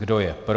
Kdo je pro?